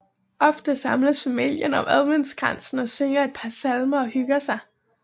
Ofte samles familien om adventskransen og synger et par salmer og hygger sig